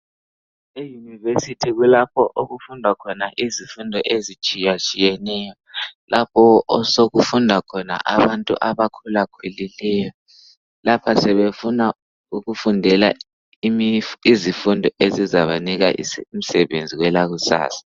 eYunivesithi kulapho okufundwa khona izifundo ezitshiyatshiyeneyo. Lapho osokufunda khona abantu abakhulakhulileyo. Lapha sebefuna ukufundela izifundo ezizabanika imisebenzi kwelakusasa.